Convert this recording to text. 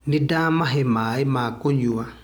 Nĩndamahe maĩ ma kũnywa